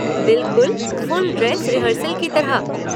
बिल्कुल full dress rehearsal की तरह।